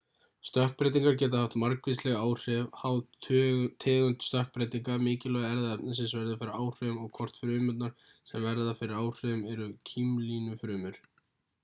stökkbreytingar geta haft margvísleg áhrif háð tegund stökkbreytinga mikilvægi erfðaefnisins verður fyrir áhrifum og hvort frumurnar sem verða fyrir áhrifum eru kímlínufrumur